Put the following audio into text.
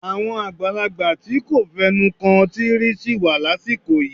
Àwọn àgbàlagbà tí kò fẹnu kan ọtí rí sì wà lásìkò yìí.